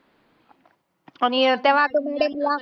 आणि त्या madam नी